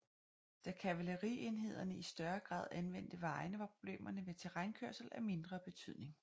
Da kavalerienhederne i større grad anvendte vejene var problemerne ved terrænkørsel af mindre betydning